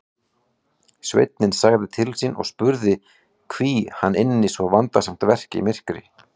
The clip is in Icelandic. Sveinninn sagði til sín og spurði hví hann ynni svo vandasamt verk í myrkri.